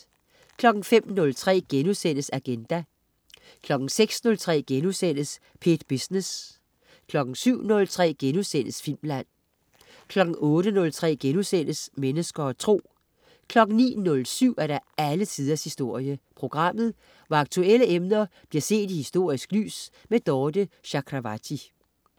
05.03 Agenda* 06.03 P1 Business* 07.03 Filmland* 08.03 Mennesker og Tro* 09.07 Alle Tiders Historie. Programmet hvor aktuelle emner bliver set i historisk lys. Dorthe Chakravarty